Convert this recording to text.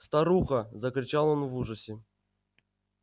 старуха закричал он в ужасе